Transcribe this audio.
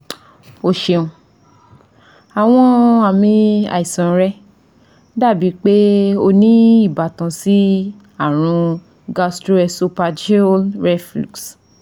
O ṣeun, awọn aami aisan rẹ dabi pe o ni ibatan si arun gastroesophageal reflux